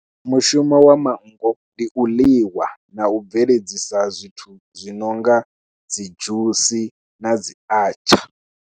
Mushumo wa mafhungo ndi u ḽiwa na u bveledzisa zwithu zwi no nga dzi dzhusi na dzi achaar.